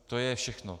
To je všechno.